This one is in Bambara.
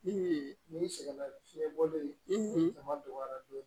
N'i sɛgɛn na ni fiɲɛ bɔlen ye a ma dɔgɔya dɔɔnin